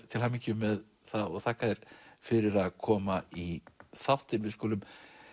til hamingju með það þakka þér fyrir að koma í þáttinn við skulum